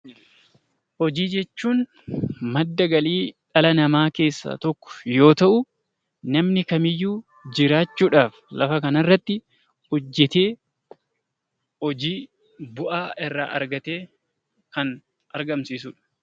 Hojii jechuun madda galii dhala namaa keessaa tokko yoo ta'u, namni kamiyyuu jiraachuudhaaf lafa kana irratti hojjetee, hojii bu'aa irraa argatee kan argamsiisudha.